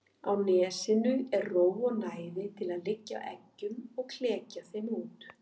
Á nesinu er ró og næði til að liggja á eggjum og klekja þeim út.